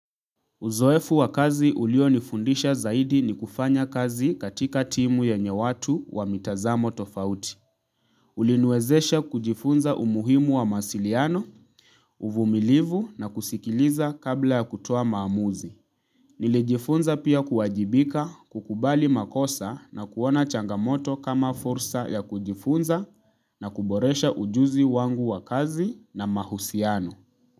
Uzoefu wa kazi uliyonifundisha zaidi, ni kufanya kazi katika timu yenye watu wa mitazamo tofauti. Uliniwezesha kujifunza umuhimu wa mawasiliano, uvumilivu na kusikiliza kabla ya kutoa maamuzi. Nilijifunza pia kuwajibika, kukubali makosa na kuona changamoto kama fursa ya kujifunza na kuboresha ujuzi wangu wa kazi na mahusiano.